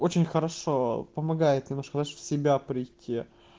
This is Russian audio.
очень хорошо помогает немножко знаешь в себя прийти